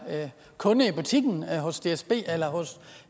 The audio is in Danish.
kunde i butikken hos dsb eller hos